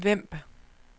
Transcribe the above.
Vemb